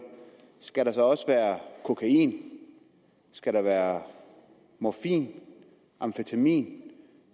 skal der så også være kokain skal der være morfin og amfetamin